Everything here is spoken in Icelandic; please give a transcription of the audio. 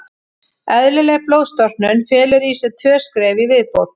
Eðlileg blóðstorknun felur í sér tvö skref í viðbót.